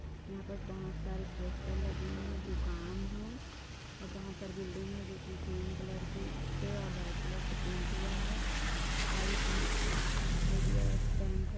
यहाँ पर बहुत सारी पोस्टर लगी हुई है दुकान है बहुत सारी बिल्डिंग है ग्रीन कलर की से और व्हाइट कलर से पेंट हुआ है आइ बी आइ_बी_आई_एफ बैंक है।